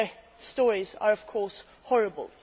Their stories are, of course, horrible.